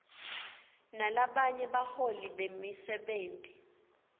nalabanye baholi bemisebenti